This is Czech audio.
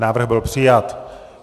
Návrh byl přijat.